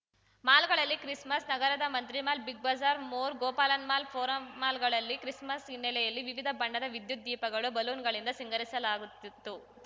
ಮಾಲ್‌ಗಳಲ್ಲಿ Christmas ನಗರದ Mantri Mall Big Bazaar More Gopalan mall Forum ಮಾಲ್‌ಗಳನ್ನು Christmas ಹಿನ್ನೆಲೆಯಲ್ಲಿ ವಿವಿಧ ಬಣ್ಣದ ವಿದ್ಯುತ್‌ ದೀಪಗಳು ಬಲೂನ್‌ಗಳಿಂದ ಸಿಂಗರಿಸಲಾಗುತ್ತಿತ್ತು